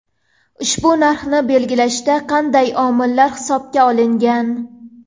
Ushbu narxni belgilashda qanday omillar hisobga olingan?